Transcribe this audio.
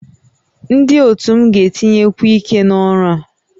Ndị otu m ga-etinyekwu ike n'ọrụ a